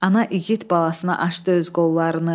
Ana igid balasına açdı öz qollarını.